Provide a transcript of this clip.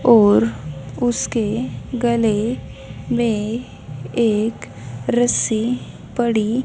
और उसके गले में एक रस्सी पड़ी--